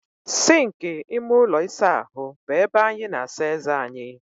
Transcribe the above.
Sịnkị ime ụlọ ịsa ahụ bụ ebe anyị na-asa eze anyị.